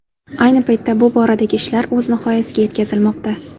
Ayni paytda bu boradagi ishlar o‘z nihoyasiga yetkazilmoqda.